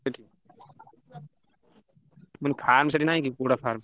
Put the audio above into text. ମୁଁ କହିଲି farm ସେଠି ନାହିଁ କି କୁକୁଡ଼ା farm ?